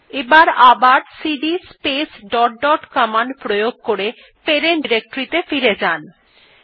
এবার CD space dot dot প্রয়োগ করে প্যারেন্ট ডিরেক্টরী ত়ে ফিরে যাওয়া যাক